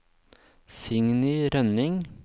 Signy Rønning